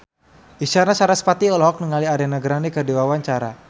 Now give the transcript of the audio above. Isyana Sarasvati olohok ningali Ariana Grande keur diwawancara